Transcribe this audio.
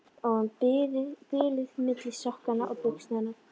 Og um bilið milli sokkanna og buxnanna.